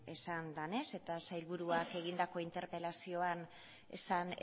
esan denez eta sailburuak egindako interpelazioan esan